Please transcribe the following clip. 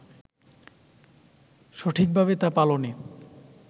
সঠিকভাবে তা পালনে